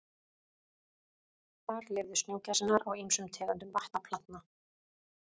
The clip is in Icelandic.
Þar lifðu snjógæsirnar á ýmsum tegundum vatnaplantna.